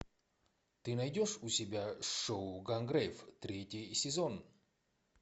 ты найдешь у себя шоу гангрейв третий сезон